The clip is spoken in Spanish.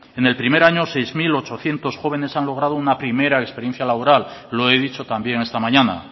en el primer año seis mil ochocientos jóvenes han logrado una primera experiencia laboral lo he dicho también esta mañana